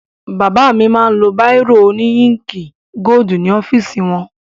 Bàbá mi máa lo báìrò òní íǹkì gódù ní ọ́fìsì wọn.